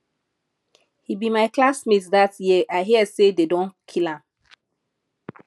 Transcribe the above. he be my classmate dat year i hear say dey don kill am